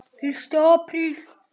FYRSTI APRÍL